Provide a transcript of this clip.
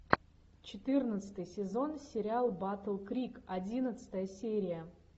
четырнадцатый сезон сериал батл крик одиннадцатая серия